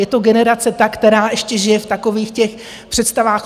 Je to generace ta, která ještě žije v takových těch představách: